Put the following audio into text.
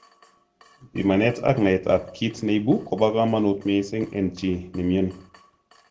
Pimanet ak naet ab kiit neibu kobo kamanut missing en chii nemyoni